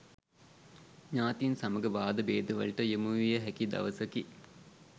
ඥාතීන් සමග වාදභේදවලට යොමුවිය හැකි දවසකි.